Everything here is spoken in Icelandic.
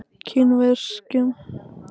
Kvískerjum